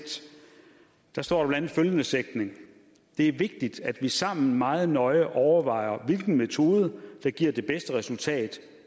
står der blandt andet følgende sætning det er vigtigt at vi sammen meget nøje overvejer hvilken metode der giver det bedste resultat